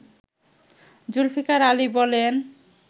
জুলফিকার আলী বলেন